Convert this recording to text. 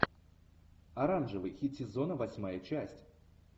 оранжевый хит сезона восьмая часть